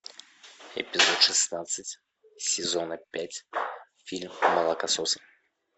эпизод шестнадцать сезона пять фильм молокососы